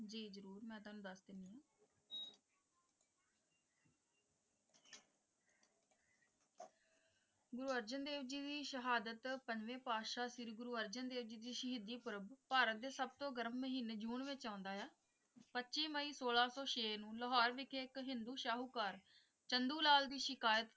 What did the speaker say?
ਗੁਰੂ ਅਰਜਨ ਦੇਵ ਜੀ ਦੀ ਸ਼ਹਾਦਤ ਪੰਜਵੇਂ ਪਾਤਸ਼ਾਹ ਸ਼੍ਰੀ ਗੁਰੂ ਅਰਜਨ ਦੇਵ ਜੀ ਦੀ ਸ਼ਹੀਦੀ ਪੂਰਵ ਭਾਰਤ ਦੇ ਸਭ ਤੋਂ ਗਰਮ ਮਹੀਨੇ ਜੂਨ ਵਿੱਚ ਆਉਂਦਾ ਹੈ ਪੱਚੀ ਮਈ ਸੋਲਾਂ ਸੌ ਛੇ ਨੂੰ ਲਾਹੌਰ ਵਿਖੇ ਇੱਕ ਹਿੰਦੂ ਸ਼ਾਹੂਕਾਰ ਚੰਦੁ ਲਾਲ ਦੀ ਸ਼ਿਕਾਇਤ,